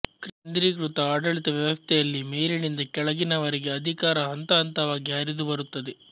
ಕೇಂದ್ರೀಕೃತ ಆಡಳಿತ ವ್ಯವಸ್ಥೆಯಲ್ಲಿ ಮೇಲಿನಿಂದ ಕೆಳಗಿನವರೆಗೆ ಅಧಿಕಾರ ಹಂತಹಂತವಾಗಿ ಹರಿದುಬರುತ್ತದೆ